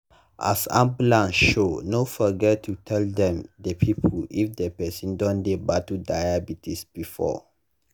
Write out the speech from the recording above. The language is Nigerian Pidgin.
as ambulance show no forget to tell them the people if the person don dey battle diabetes before.